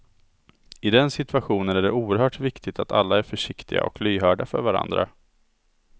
I den situationen är det oerhört viktigt att alla är försiktiga och lyhörda för varandra.